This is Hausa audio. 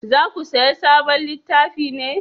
Za ku saya sabon littafi ne?